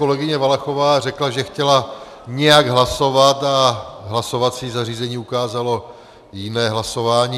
Kolegyně Valachová řekla, že chtěla nějak hlasovat a hlasovací zařízení ukázalo jiné hlasování.